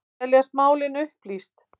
Teljast málin upplýst